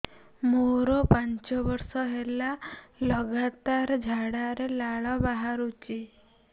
ମୋରୋ ପାଞ୍ଚ ବର୍ଷ ହେଲା ଲଗାତାର ଝାଡ଼ାରେ ଲାଳ ବାହାରୁଚି